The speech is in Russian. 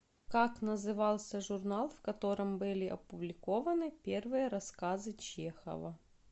как назывался журнал в котором были опубликованы первые рассказы чехова